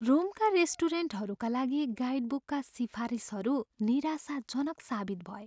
रोमका रेस्टुरेन्टहरूका लागि गाइडबुकका सिफारिसहरू निराशाजनक साबित भए।